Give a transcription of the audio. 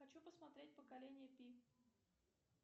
хочу посмотреть поколение пи